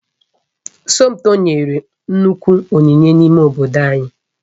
Somtoo nyere nnukwu onyinye n'ime obodo